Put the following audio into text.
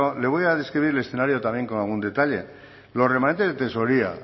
le voy a describir el escenario también con algún detalle los remanentes de tesorería